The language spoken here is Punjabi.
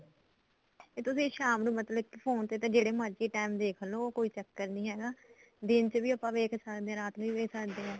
ਇਹ ਤੁਸੀਂ ਸ਼ਾਮ ਨੂੰ ਮਤਲਬ ਕਿ ਫੋਨ ਤੇ ਤਾਂ ਜਿਹੜੇ ਮਰਜੀ time ਦੇਖ ਲੋ ਕੋਈ ਚੱਕਰ ਨੀ ਹੈਗਾ ਦਿਨ ਚ ਵੀ ਆਪਾਂ ਵੇਖ ਸਕਦੇ ਆ ਰਾਤ ਵੀ ਵੇਖ ਸਕਦੇ ਆ